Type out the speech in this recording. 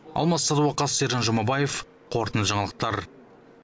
алмас садуақас сержан жұмабаев қорытынды жаңалықтар